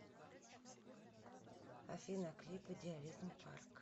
афина клип идеализм парк